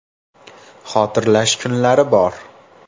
“Xotirlash kunlari bor.